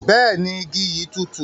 Bẹẹni, igi yi tùtù.